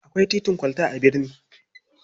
Akwai titin kwalta a birni.